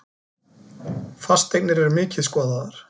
Fasteignir eru mikið skoðaðar